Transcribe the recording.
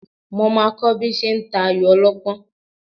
Mo máa kọ́ bí ṣe ń ta ayò ọlọ́pọ́n